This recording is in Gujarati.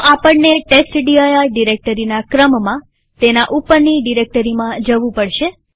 તો આપણને ટેસ્ટડિર ડિરેક્ટરીના ક્રમમાં તેના ઉપરની ડિરેક્ટરીમાં જવું પડશે